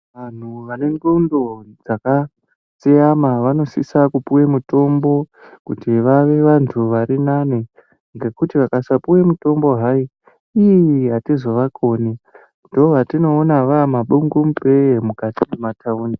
Vantu vane ndxondo dzakatsveyama vanosisa kupuwa mitombo kuti vave vantu varinane ngekuti vakasapiwa mitombo hai ii atizovakoni ndovatoona vaamabungu mupee mukati memataundi.